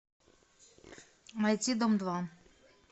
найти дом два